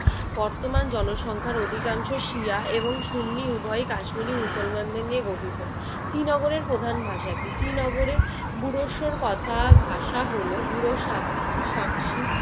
বর্তমান জনসংখ্যার অধিকাংশ শিয়া এবং সুন্নী উভয়ই কাশ্মীরি মুসলমানদের নিয়ে গঠিত। শ্রীনগরের প্রধান ভাষা কি? শ্রীনগরে বুড়োস্বর কথা ভাষা হলো বুড়ো সাক~ সাকসি